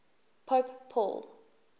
pope paul